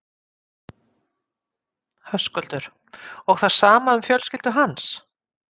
Höskuldur: Og það sama um fjölskyldu hans?